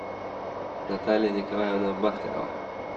наталья николаевна бахтерова